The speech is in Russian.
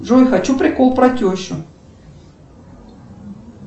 джой хочу прикол про тещу